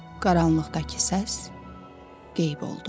Qaranlıqdakı səs qeyb oldu.